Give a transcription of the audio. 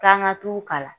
K'an ka t'u kalan